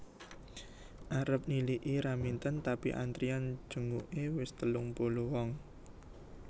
Arep niliki Raminten tapi antrian jenguke wis telung puluh wong